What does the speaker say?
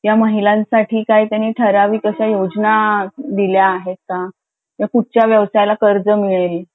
ज्या महिलांसाठी त्यांनी ठराविक योजना दिल्या आहेत का की कुठच्या वर त्याला कर्ज मिळेल